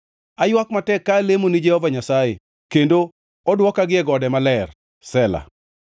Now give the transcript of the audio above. Aywak matek ka alemo ni Jehova Nyasaye, kendo odwoka gie gode maler. Sela